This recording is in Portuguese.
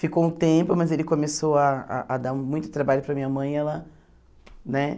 Ficou um tempo, mas ele começou ah a a dar muito trabalho para minha mãe e ela, né?